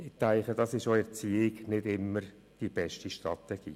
Das ist meines Erachtens auch in der Erziehung nicht immer die beste Strategie.